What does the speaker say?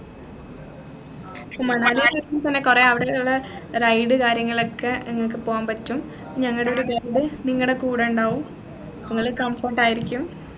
ഇപ്പൊ മണാലി കൊറേ അവിടെ ഉള്ള ride കാര്യങ്ങളൊക്കെ നിങ്ങക്ക് പോകാൻ പറ്റും ഞങ്ങടെ ഒരു guide നിങ്ങടെ കൂടെ ഉണ്ടാകും അപ്പൊ നിങ്ങൾ comfort ആയിരിക്കും